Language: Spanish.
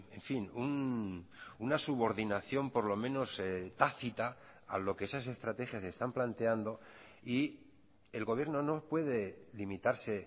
en fin una subordinación por lo menos tácita a lo que esas estrategias están planteando y el gobierno no puede limitarse